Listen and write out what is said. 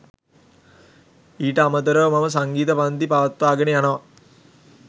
ඊට අමතරව මම සංගීත පංති පවත්වාගෙන යනවා.